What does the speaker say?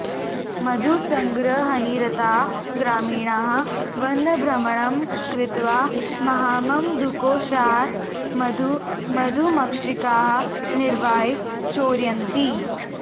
मधुसङ्ग्रहनिरताः ग्रामीणाः वनभ्रमणं कृत्वा महाममधुकोषात् मधु मधुमक्षिकाः निवार्य चोरयन्ति